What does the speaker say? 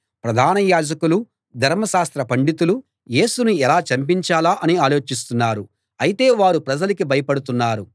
ప్రధాన యాజకులూ ధర్మశాస్త్ర పండితులూ యేసును ఎలా చంపించాలా అని ఆలోచిస్తున్నారు అయితే వారు ప్రజలకి భయపడుతున్నారు